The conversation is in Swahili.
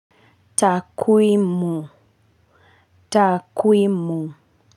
Takwimu takwimu.